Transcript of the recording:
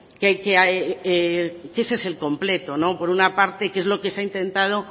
que ese es el completo por una parte que es lo que se ha intentado